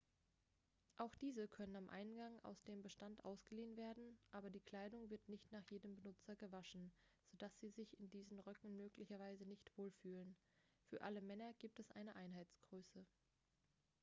auch diese können am eingang aus dem bestand ausgeliehen werden aber die kleidung wird nicht nach jedem benutzer gewaschen sodass sie sich in diesen röcken möglicherweise nicht wohlfühlen für alle männer gibt es eine einheitsgröße